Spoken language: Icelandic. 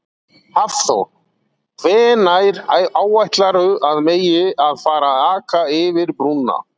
Hafþór: Hvenær áætlarðu að megi að fara að aka yfir brúna?